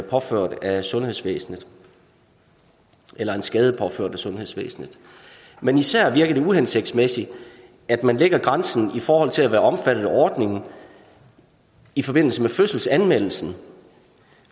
påført af sundhedsvæsenet eller en skade påført af sundhedsvæsenet men især virker det uhensigtsmæssigt at man lægger grænsen i forhold til at være omfattet af ordningen i forbindelse med fødselsanmeldelsen